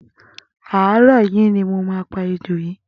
Àárọ yi ni mó pà éjó yi